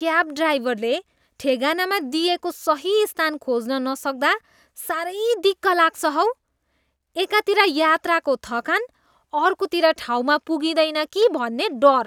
Cab ड्राइभरले ठेगानामा दिइएको सही स्थान खोज्न नसक्दा साह्रै दिक्क लाग्छ हौ। एकातिर यात्राको थकान, अर्कोतिर ठाउँमा पुगिँदैन कि भन्ने डर!